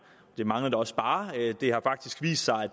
det manglede da også bare det har faktisk vist sig at